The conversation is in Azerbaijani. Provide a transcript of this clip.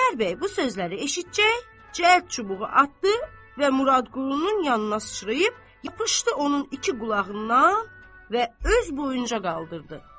Xudayar bəy bu sözləri eşitcək, cəld çubuğu atdı və Muradqulunun yanına sıçrayıb yapışdı onun iki qulağından və öz boyunca qaldırdı.